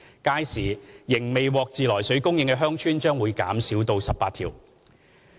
屆時，仍未獲自來水供應的鄉村會減少至18條。